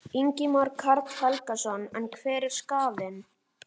Ingimar Karl Helgason: En hver er skaðinn?